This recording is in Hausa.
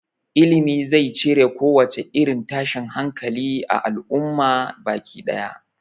Ilimi zai cire kowace irin tashin hankali a al'umma baki ɗaya